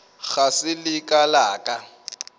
ga se la ka la